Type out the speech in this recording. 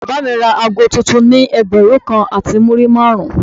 Bàbá mi ra ago tuntun ni ẹgbẹ̀rún kan àti múrí márùn-ún.